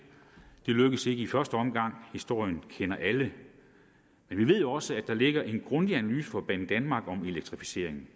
lykkedes ikke i første omgang historien kender alle men vi ved jo også at der ligger en grundig analyse fra banedanmark om elektrificeringen